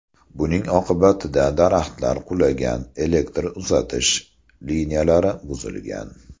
Buning oqibatida daraxtlar qulagan, elektr uzatish liniyalari buzilgan.